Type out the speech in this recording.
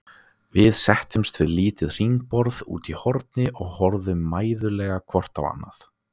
Við settumst við lítið hringborð úti í horni og horfðum mæðulega hvort á annað.